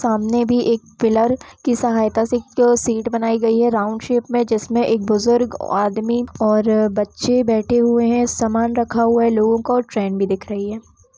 सामने भी एक पिलर की सहायता से एक शीट बनाई गई है राउंड शेप में जिसमें एक बुजुर्ग आदमी और अ बच्चे बैठे हुए है सामान रखा हुआ है लोगों का और ट्रेन भी दिख रही है।